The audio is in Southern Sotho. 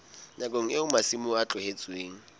nakong eo masimo a tlohetsweng